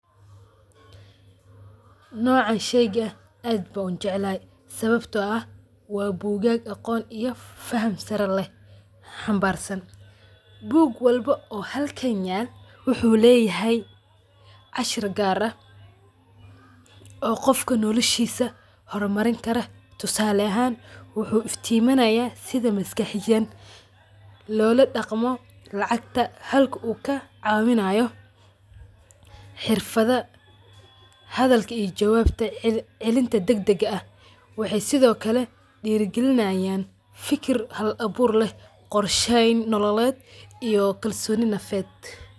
Noca sheeyga aad Aya u jeclahay sawabta oo aah wa bokaka faham Sara leeh xambarsan boog walba oo Hakan yal waxuleyahay, cashir kaar ah oo Qoofka noloshesh hormarini karoh tusali ahaan waxu iftiminaya setha maskaxiyan lolo daqmo lacgta Halka oo kacawinayo xeerfatha hadalka iyo jawabta celinya dadaga ah waxay sethokali derikalinayan fiki Hal abuur leeh qoorsheyn nololet iyo kalsoni nafeet .